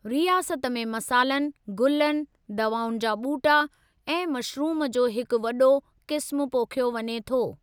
रियासत में मसालन, गुलनि, दवाउनि जा ॿूटा ऐं मशरूम जो हिकु वॾो क़िस्मु पोखियो वञे थो।